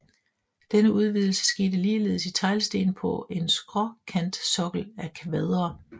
Denne udvidelse skete ligeledes i teglsten på en skråkantsokkel af kvadre